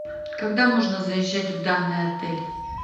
когда можно заезжать в данный отель